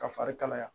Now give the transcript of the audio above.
Ka fari kalaya